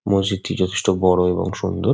মসজিদ -টি যথেষ্ট বড়ো এবং সুন্দর।